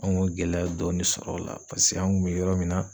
An kun ye gɛlɛya dɔɔni sɔrɔ o la paseke an kun bɛ yɔrɔ min na